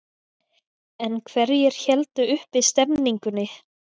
En hverjir héldu uppi stemmingunni?